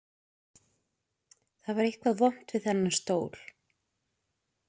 Það var eitthvað vont við þennan stól.